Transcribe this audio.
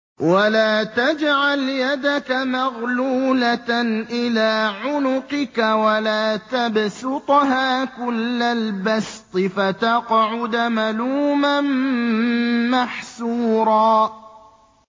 وَلَا تَجْعَلْ يَدَكَ مَغْلُولَةً إِلَىٰ عُنُقِكَ وَلَا تَبْسُطْهَا كُلَّ الْبَسْطِ فَتَقْعُدَ مَلُومًا مَّحْسُورًا